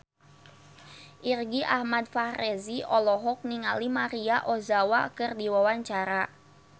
Irgi Ahmad Fahrezi olohok ningali Maria Ozawa keur diwawancara